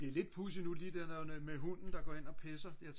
det er lidt pudsigt nu det der med hunden der går ind og pisser